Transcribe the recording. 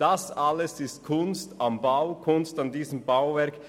Dies alles ist «Kunst am Bau», Kunst an diesem Bauwerk.